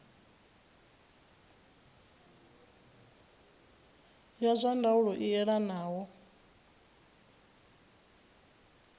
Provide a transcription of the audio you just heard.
ya zwa ndaulo i elanaho